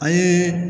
An ye